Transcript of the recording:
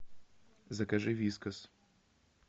закажи вискас